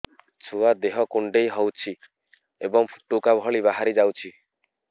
ଛୁଆ ଦେହ କୁଣ୍ଡେଇ ହଉଛି ଏବଂ ଫୁଟୁକା ଭଳି ବାହାରିଯାଉଛି